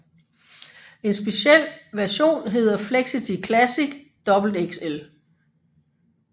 En speciel version hedder Flexity Classic XXL